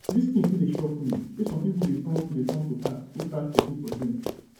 dis thing still dey shock me say some people dey turn to dey turn to cat go scratch people for dream